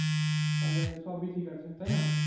তালে সব ই ঠিক আছে তাই না